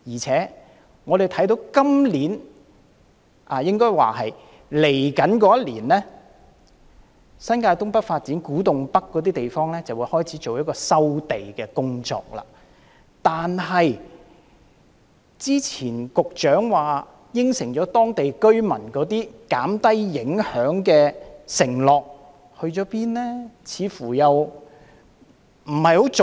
此外，我們看到在未來1年，就新界東北發展，政府會在古洞北等地方開始進行收地工作，但是，局長早前答應當地居民會減低相關影響的承諾到哪裏去了？